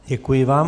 Děkuji vám.